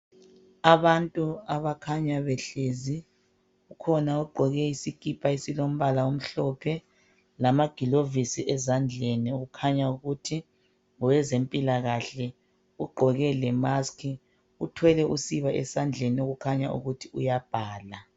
Abantu abakhanya behlezi. Kukhona ogqoke isikipha esilombala omhlophe lamagilovisi ezandleni okukhanya ukuthi ngowezempilakahle, ugqoke lemaski. Uthwele usiba esandleni okukhanya ukuthi uyabhala.